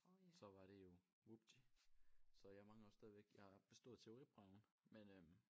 Så var det jo vupti så jeg mangler jo stadigvæk jeg har bestået teoriprøven men øh